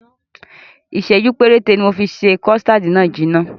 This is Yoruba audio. Ìsẹ̀jú péréte ni mofi ṣe kọ̀stáádì náà jìnà.